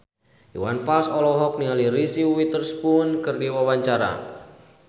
Iwan Fals olohok ningali Reese Witherspoon keur diwawancara